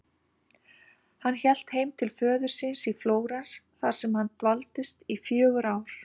Hann hélt heim til föður síns í Flórens þar sem hann dvaldist í fjögur ár.